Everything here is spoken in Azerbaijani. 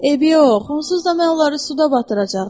Eybi yox, onsuz da mən onları suda batıracaqdım.